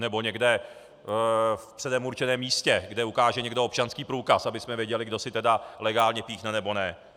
Anebo někde v předem určeném místě, kde ukáže někdo občanský průkaz, abychom věděli, kdo si teda legálně píchne nebo ne.